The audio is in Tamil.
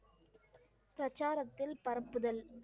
சச்சார் அப்துல் பரப்புதல்?